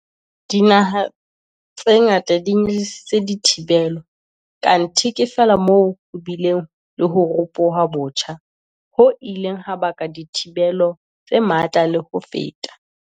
Dinaha tse ngata di nyehlisitse dithibelo, kanthe ke feela moo ho bileng le ho ropoha botjha, ho ileng ha baka dithibelo tse matla le ho feta.